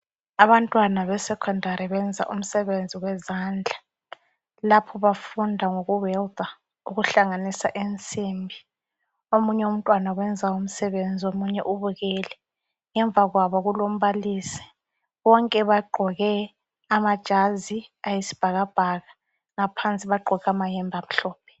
Abantwana be secondary benza umsebenzi wezandla ,lapho bafunda ngoku welder ,ukuhlanganisa insimbi. Omunye umntwana wenza umsebenzi ,omunye ubukele ,ngemva kwabo kulombalisi .Bonke bagqoke amajazi ayisibhakabhaka ngaphansi bagqoke amahembe amhlophe .